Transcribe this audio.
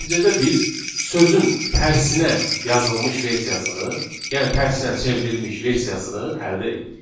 Nəticədə biz sözün tərsinə yazılmış versiyasını, yəni tərsinə çevrilmiş versiyasını əldə edirik.